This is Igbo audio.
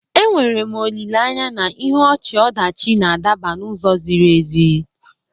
Enwere m olileanya na ihe ọchị-ọdachi na-adaba n'ụzọ ziri ezi.